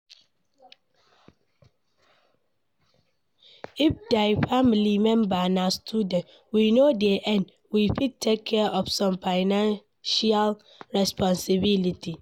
if di family member na student wey no dey earn, we fit take care of some financial responsibility